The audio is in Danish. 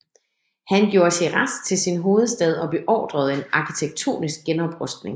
Han gjorde Shiraz til sin hovedstad og beordrede en arkitektonisk genoprustning